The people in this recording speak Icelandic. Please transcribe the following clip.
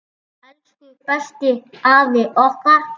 Elsku besti afi okkar.